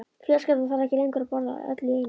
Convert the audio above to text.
Fjölskyldan þarf ekki lengur að borða öll í einu.